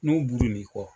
N'u buru n'i kɔ